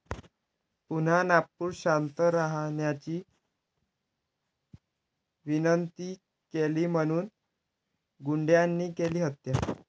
पुन्हा नागपूर!, शांत राहण्याची विनंती केली म्हणून गुंडांनी केली हत्या